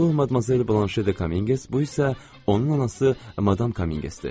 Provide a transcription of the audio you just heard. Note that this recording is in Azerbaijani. Bu Madmazel De Kominqes, bu isə onun anası madam Kominqesdir.